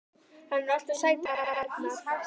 Hann er nú alltaf sætur hann Arnar.